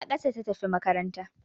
A ƙasa ta tafi makaranta